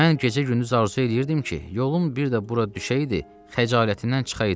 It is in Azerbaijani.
Mən gecə-gündüz arzu eləyirdim ki, yolum bir də bura düşəydi, xəcalətindən çıxaydım.